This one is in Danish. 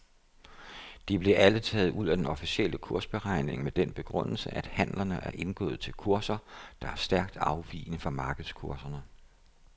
De blev alle taget ud af den officielle kursberegning med den begrundelse at handlerne er indgået til kurser, der er stærkt afvigende fra markedskurserne.